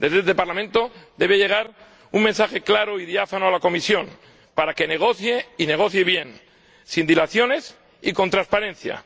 Desde este Parlamento debe llegar un mensaje claro y diáfano a la Comisión para que negocie y negocie bien, sin dilaciones y con transparencia.